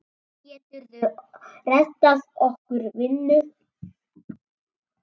Geturðu reddað okkur vinnu?